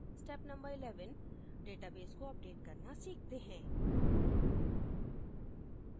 step no 11: database को update करना सीखते हैं